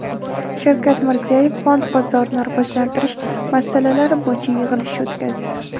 Shavkat Mirziyoyev fond bozorini rivojlantirish masalalari bo‘yicha yig‘ilish o‘tkazdi.